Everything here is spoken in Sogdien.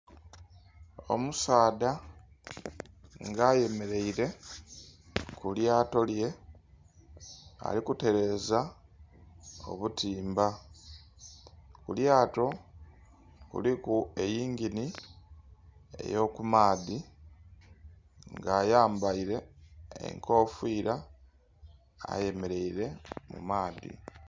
Omusaadha nga ayemeleire ku lyato lye, ali kutereza obutimba. Ku lyato kuliku eyingini ey'okumaadhi nga ayambaire enkofira ayemeleire mu maadhi.